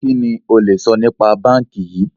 Kìíní ó le sọ nípa báńkì yìí?